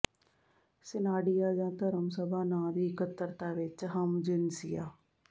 ਸਿਨਾਡੀਆ ਜਾਂ ਧਰਮ ਸਭਾ ਨਾਂ ਦੀ ਇਕੱਤਰਤਾ ਵਿਚ ਹਮਜਿਨਸੀਆ